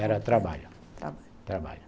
Era trabalho, trabalho, trabalho.